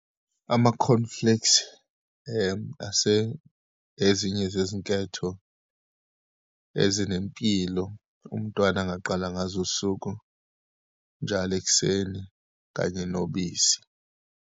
Ama-cornflakes ase ezinye zezinketho ezinempilo umntwana angaqala ngazo usuku njalo ekuseni, kanye nobisi.